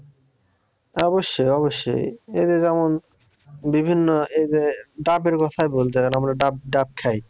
অবশ্যই অবশ্যই